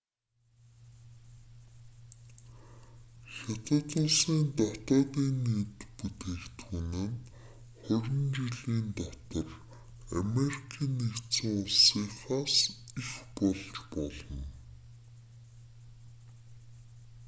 хятад улсын днб нь хорин жилийн дотор америкийн нэгдсэн улсынхаас их болж болно